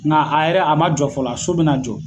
Nka a yɛrɛ a ma jɔ fɔlɔ a so bina jɔ